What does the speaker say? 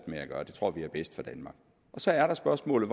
gøre det tror vi er bedst for danmark så er der spørgsmålet